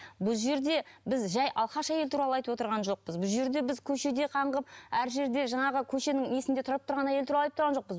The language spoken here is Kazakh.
бұл жерде біз жай алқаш әйел туралы айтып отырған жоқпыз бұл жерде біз көшеде қаңғып әр жерде жаңағы көшенің несінде тұрап тұрған әйел туралы айтып тұрған жоқпыз